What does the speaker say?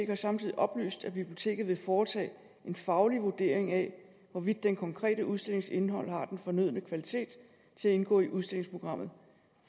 har samtidig oplyst at biblioteket vil foretage en faglig vurdering af hvorvidt den konkrete udstillings indhold har den fornødne kvalitet til at indgå i udstillingsprogrammet